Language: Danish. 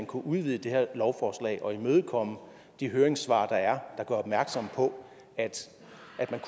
kunne udvide det her lovforslag og imødekomme de høringssvar der er der gør opmærksom på at